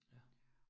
Ja